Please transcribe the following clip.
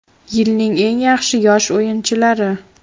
Yilning eng yaxshi yosh o‘yinchilari.